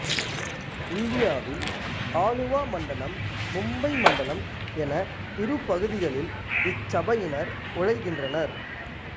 இந்தியாவில் ஆலுவா மண்டலம் மும்பை மண்டலம் என இரு பகுதிகளில் இச்சபையினர் உழைக்கின்றனர்